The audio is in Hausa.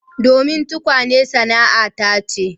Domin tukwane sana'ana ce